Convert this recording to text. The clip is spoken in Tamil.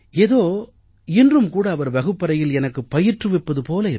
ஏதோ இன்றும் கூட அவர் வகுப்பறையில் எனக்கு பயிற்றுவிப்பது போல